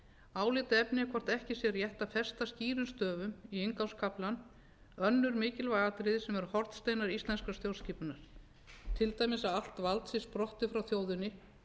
álitaefni er hvort ekki sé rétt að festa skýrum stöfum í inngangskaflann önnur mikilvæg atriði sem eru hornsteinar íslenskrar stjórnskipunar til dæmis að allt vald sé sprottið frá þjóðinni